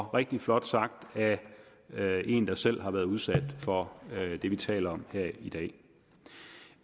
rigtig flot sagt af en der selv har været udsat for det vi taler om her i dag